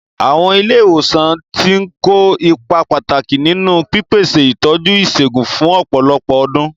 Àwọn ilé ìwòsàn ti ń kó ipa pàtàkì nínú pípèsè ìtọ́jú ìṣègùn fún ọ̀pọ̀lọpọ̀ ọdún.